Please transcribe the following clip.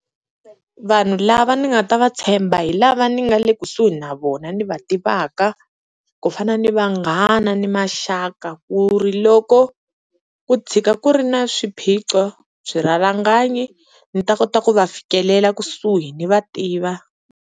Vanhu lava ni nga ta va tshemba hi lava ni nga le kusuhi na vona ni va tivaka ku fana ni vanghana ni maxaka ku ri loko ku tshika ku ri na swiphiqo, swirhalanganyi ni ta kota ku va fikelela kusuhi ni va tiva.